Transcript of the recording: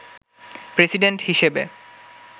president হিসেবে